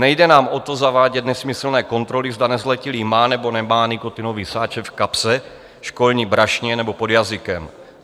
Nejde nám o to, zavádět nesmyslné kontroly, zda nezletilý má nebo nemá nikotinový sáček v kapse, školní brašně nebo pod jazykem.